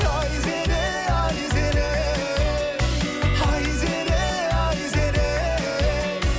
айзере айзере айзере айзере